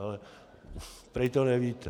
Ale prý to nevíte.